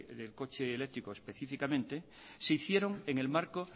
del coche eléctrico específicamente se hicieron en el marco